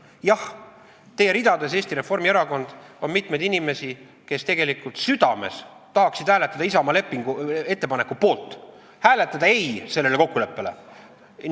Jah, teie ridades, Eesti Reformierakond, on mitmeid inimesi, kes tegelikult südames tahaksid hääletada Isamaa ettepaneku poolt, öelda ei sellele kokkuleppele.